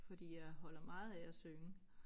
Fordi jeg holder meget af at synge